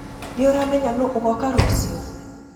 Nĩũramenya nũ agoka rũcĩũ?